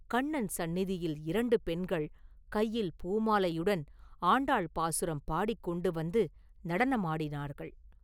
கண்ணன் சந்நிதியில் இரண்டு பெண்கள் கையில் பூமாலையுடன் ஆண்டாள் பாசுரம் பாடிக் கொண்டு வந்து நடனம் ஆடினார்கள்.